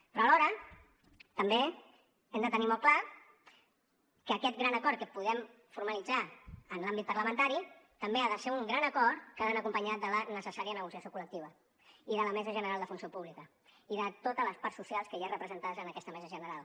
però alhora també hem de tenir molt clar que aquest gran acord que podem formalitzar en l’àmbit parlamentari també ha de ser un gran acord que ha d’anar acompanyat de la necessària negociació col·lectiva i de la mesa general de funció pública i de totes les parts socials que hi ha representades en aquesta mesa general